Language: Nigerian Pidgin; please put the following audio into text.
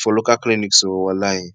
for local clinics o walahi